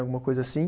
Alguma coisa assim.